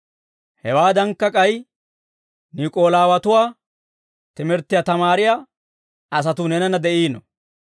Hewaadankka, k'ay Niik'oolaawatuwaa timirttiyaa tamaariyaa asatuu neenanna de'iino.